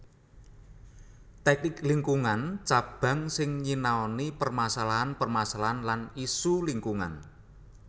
Tèknik Lingkungan Cabang sing nyinaoni permasalahan permasalahan lan isu lingkungan